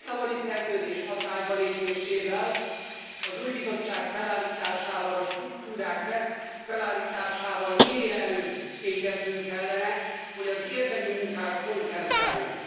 A Lisszaboni Szerződés hatálybalépésével, az új Bizottság felállításával, a struktúrák felállításával minél előbb végeznünk kellene, hogy az érdemi munkára koncentráljunk.